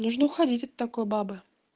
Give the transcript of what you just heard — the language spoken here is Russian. нужно уходить от такой бабы